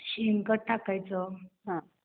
शेणखत टाकायचं